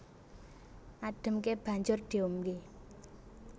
Ademké banjur diombé